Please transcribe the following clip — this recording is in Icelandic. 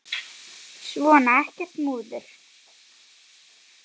Svona, ekkert múður.